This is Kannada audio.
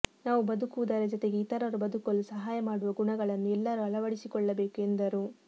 ನಾವು ಬದುಕುವುದರ ಜತೆಗೆ ಇತರರು ಬದುಕಲು ಸಹಾಯ ಮಾಡುವ ಗುಣಗಳನ್ನು ಎಲ್ಲರೂ ಅಳವಡಿಸಿಕೊಳ್ಳಬೇಕು ಎಂದರು